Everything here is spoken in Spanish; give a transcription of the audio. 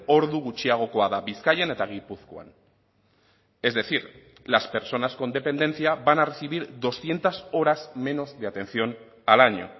ordu gutxiagokoa da bizkaian eta gipuzkoan es decir las personas con dependencia van a recibir doscientos horas menos de atención al año